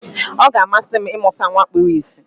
Ọ ga-amasị m ịmụta nwa kpuru ìsì.